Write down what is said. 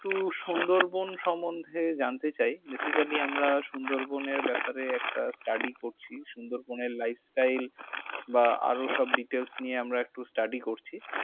একটু সুন্দরবন সম্বন্ধে জানতে চাই। Basically আমরা সুন্দরবনের ব্যাপারে একটা study করছি। সুন্দরবন এর lifestyle বা আরও সব details নিয়ে আমরা একটু study করছি ।